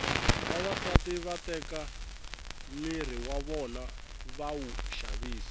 vavasati va teka miri w vona va wu xavisa